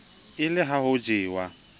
e le ha ho jewa